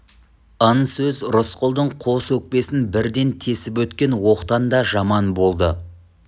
ын сөз рысқұлдың қос өкпесін бірден тесіп өткен оқтан да жаман болды